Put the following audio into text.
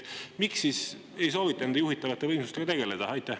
Miks siis ei soovita juhitavate võimsustega tegeleda?